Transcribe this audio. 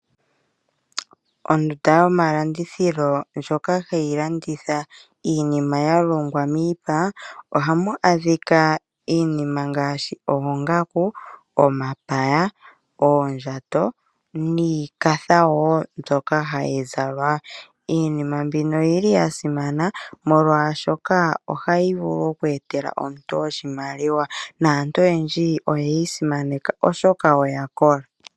Ondunda yomalandithilo ndjoka hayi landitha iinima ya longwa miipa ohamu adhika iinima ngaashi oongaku ,omapaya ,oondjato niikatha woo mbyoka hayi zalwa . Iinima mbino oyili yasimana molwaashoka ohayi vulu oku etela omuntu oshimaliwa naantu oyendji oyeyi simaneka oshoka oyakola.